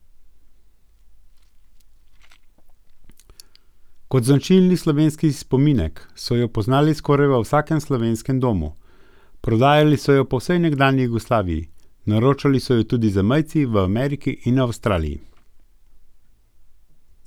Kot značilni slovenski spominek so jo poznali skoraj v vsakem slovenskem domu, prodajali so jo po vsej nekdanji Jugoslaviji, naročali so jo tudi zamejci v Ameriki in Avstraliji.